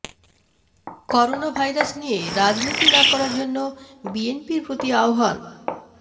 corona virus নিয়ে রাজনীতি না করার জন্য বিএনপির প্রতি আহ্বান